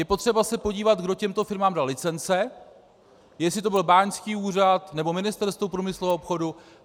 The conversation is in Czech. Je potřeba se podívat, kdo těmto firmám dal licence, jestli to byl báňský úřad nebo Ministerstvo průmyslu a obchodu.